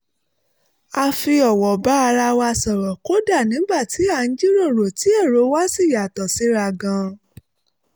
a fi ọ̀wọ̀ bá ara wa sọ̀rọ̀ kódà nígbà tí à ń jíròrò tí èrò wa sì yàtọ̀ síra gan-an